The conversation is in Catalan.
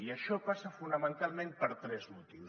i això passa fonamentalment per tres motius